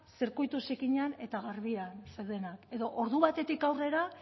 zirkuitu zikinean eta garbian zeudela edo ordu batetik aurrera